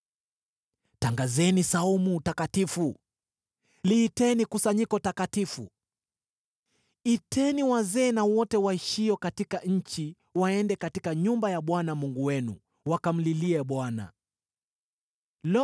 Tangazeni saumu takatifu; liiteni kusanyiko takatifu. Iteni wazee na wote waishio katika nchi waende katika nyumba ya Bwana Mungu wenu, wakamlilie Bwana .